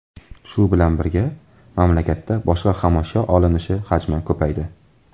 Shu bilan birga, mamlakatda boshqa xomashyo olinishi hajmi ko‘paydi.